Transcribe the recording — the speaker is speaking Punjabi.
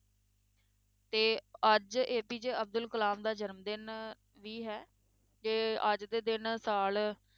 ਤੇ ਅੱਜ APJ ਅਬਦੁਲ ਕਲਾਮ ਦਾ ਜਨਮ ਦਿਨ ਵੀ ਹੈ, ਤੇ ਅੱਜ ਦੇ ਦਿਨ ਸਾਲ